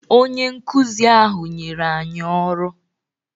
Onye nkụzi ahụ nyere anyị ọrụ